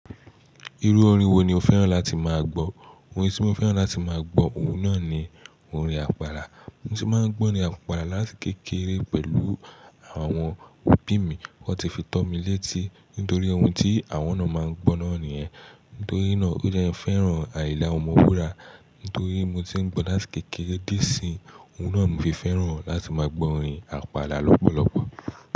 Irú orin wo ni o fẹ́ràn láti máa gbọ́? Orin tí mo fẹ́ràn láti máa gbọ́, òun náà ni orin àpàlà. Orin tí mo máa ń gbọ́ ni àpàlà láti kékeré pẹ̀lú àwọn òbí mi. Wọ́n ti fi to mi létí nítorí ohun tí àwọn náà máa ń gbọ́ náà nìyẹn. Nítorí náà o je n fẹ́ràn àyinla ọmọ wúrà. Nítorí mo ti ń gbọ́ láti kékeré di isinyi, òun náà ni mo fi fẹ́ràn láti máa gbọ́ orin àpàlà lọ́pọ̀lọpọ̀.